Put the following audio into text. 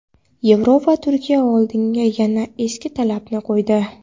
Yevropa Turkiya oldiga yana eski talabini qo‘ydi.